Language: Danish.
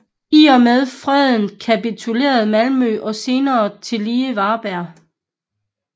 I og med freden kapitulerede Malmø og senere tillige Varberg